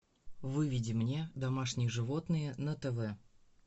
выведи мне домашние животные на тв